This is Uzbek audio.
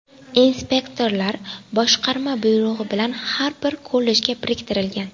Inspektorlar boshqarma buyrug‘i bilan har bir kollejga biriktirilgan.